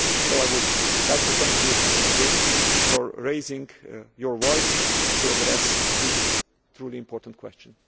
I would like to thank you again for speaking up in order to address this truly important question.